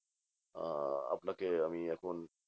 আহ আপনাকে আমি এখন